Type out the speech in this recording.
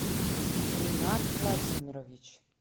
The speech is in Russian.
ренат владимирович